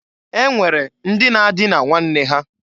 E nwere ndị na-adịna nwanne ha.